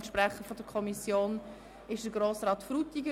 Der Sprecher der Kommission ist Grossrat Frutiger.